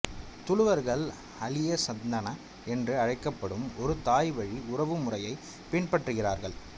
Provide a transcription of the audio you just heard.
துளுவர்கள் அலியசந்தனா என்று அழைக்கப்படும் ஒரு தாய்வழி உறவு முறையைப் பின்பற்றுகிறார்கள்